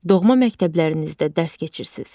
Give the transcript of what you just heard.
Doğma məktəblərinizdə dərs keçirsiniz.